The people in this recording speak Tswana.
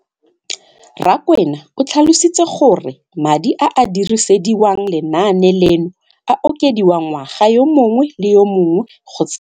Rakwena o tlhalositse gore madi a a dirisediwang lenaane leno a okediwa ngwaga yo mongwe le yo mongwe go tsamaelana le.